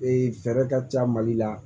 Ee fɛɛrɛ ka ca mali la